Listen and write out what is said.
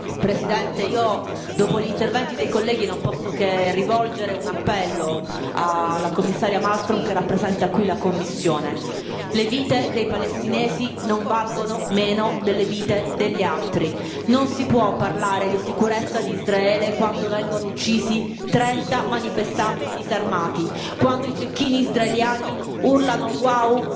Signor Presidente, onorevoli colleghi, dopo gli interventi dei colleghi non posso che rivolgere un appello alla Commissaria Malmström, che rappresenta qui la Commissione le vite dei palestinesi non valgono meno delle vite degli altri. Non si può parlare di sicurezza di Israele quando vengono uccisi 30 manifestanti disarmati, quando i cecchini israeliani urlano Wow!